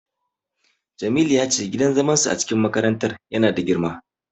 Jamilu ya ce gidan zaman su a cikin makarantar ya na da girma